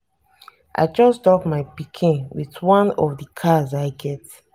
i just drop my pikin with one of the cars i get.